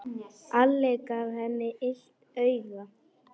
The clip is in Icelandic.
Alli gaf henni illt auga.